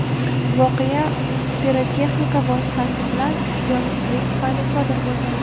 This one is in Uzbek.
voqea pirotexnika vositasi bilan ehtiyotsizlik tufayli sodir bo‘lgan.